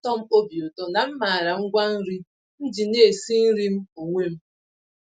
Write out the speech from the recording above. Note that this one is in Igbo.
Ọna atọm obi ụtọ na m màrà ngwa-nri m ji na-esi nri m onwe m.